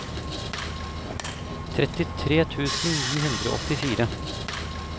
trettitre tusen ni hundre og åttifire